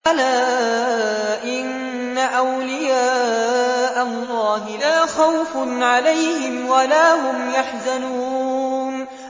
أَلَا إِنَّ أَوْلِيَاءَ اللَّهِ لَا خَوْفٌ عَلَيْهِمْ وَلَا هُمْ يَحْزَنُونَ